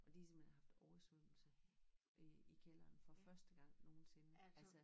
Og de simpelthen har oversvømmelse i i kælderen for første gang nogensinde altså